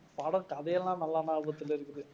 படம் கதையெல்லாம் நல்லா ஞாபகத்தில இருக்குது.